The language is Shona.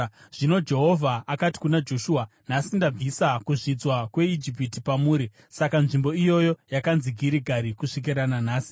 Zvino Jehovha akati kuna Joshua, “Nhasi ndabvisa kuzvidzwa kweIjipiti pamuri.” Saka nzvimbo iyoyo yakanzi Girigari, kusvikira nanhasi.